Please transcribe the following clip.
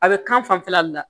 A bɛ kan fanfɛla le la